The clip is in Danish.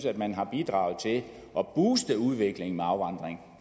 at man har bidraget til at booste udviklingen i afvandring